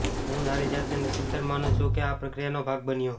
હું મારી જાતને નસીબદાર માનું છું કે આ પ્રક્રિયાનો ભાગ બન્યો